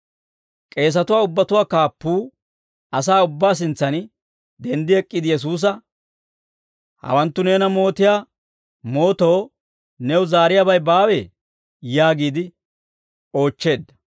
K'eesatuwaa ubbatuwaa kaappuu asaa ubbaa sintsan denddi ek'k'iide Yesuusa, «Hawanttu neena mootiyaa mootoo new zaariyaabay baawee?» yaagiide oochcheedda.